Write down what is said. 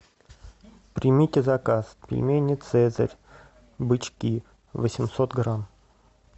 примите заказ пельмени цезарь бычки восемьсот грамм